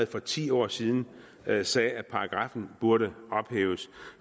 for ti år siden sagde sagde at paragraffen burde ophæves